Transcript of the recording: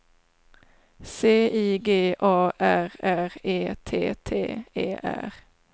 C I G A R R E T T E R